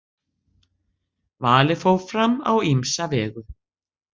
Valið fór fram á ýmsa vegu.